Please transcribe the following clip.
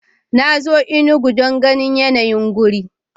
Na zo Enugu don ganin yanayi wurin.